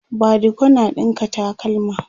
badiko na ɗinka takalma